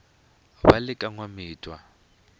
ra le ka n wamitwa